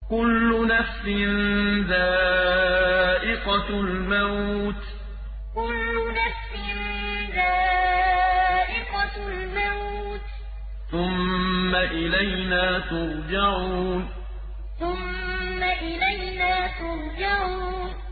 كُلُّ نَفْسٍ ذَائِقَةُ الْمَوْتِ ۖ ثُمَّ إِلَيْنَا تُرْجَعُونَ كُلُّ نَفْسٍ ذَائِقَةُ الْمَوْتِ ۖ ثُمَّ إِلَيْنَا تُرْجَعُونَ